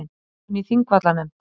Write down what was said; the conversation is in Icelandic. Þráinn í Þingvallanefnd